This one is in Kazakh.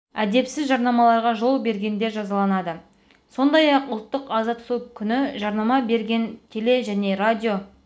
әдепсіз жарнамаларға жол бергендер жазаланады сондай-ақ ұлттық аза тұту күні жарнама берген теле және радио